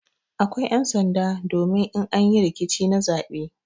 Akwai ƴan'sanda domin in an yi rikici na zaɓe.